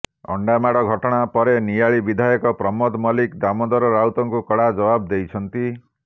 ଅଣ୍ଡାମାଡ଼ ଘଟଣା ପରେ ନିଆଳି ବିଧାୟକ ପ୍ରମୋଦ ମଲ୍ଲିକ ଦାମୋଦର ରାଉତଙ୍କୁ କଡ଼ା ଜବାବ ଦେଇଛନ୍ତି